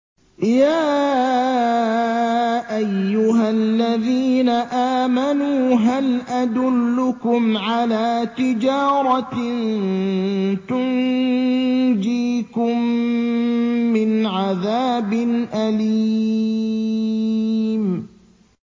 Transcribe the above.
يَا أَيُّهَا الَّذِينَ آمَنُوا هَلْ أَدُلُّكُمْ عَلَىٰ تِجَارَةٍ تُنجِيكُم مِّنْ عَذَابٍ أَلِيمٍ